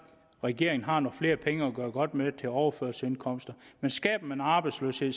regeringen har nogle flere penge at gøre godt med til overførselsindkomster men skaber man arbejdsløshed